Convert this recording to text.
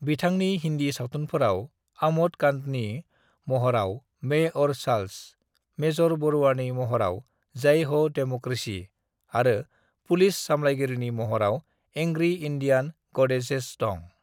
"बिथांनि हिंदी सावथुनफोराव आमोद कांतनि महराव मैं और चार्ल्स, मेजर बरुआनि महराव जय हो डेमोक्रेसी आरो पुलिस सामलायगिरि महराव एंग्री इंडियन गॉडेसेस दं।"